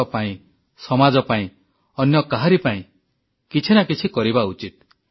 ଦେଶ ପାଇଁ ସମାଜ ପାଇଁ ଅନ୍ୟ କାହାରି ପାଇଁ କିଛି ନା କିଛି କରିବା ଉଚିତ